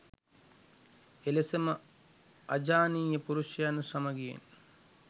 එලෙසම අජානීය පුරුෂයත් සමගියෙන්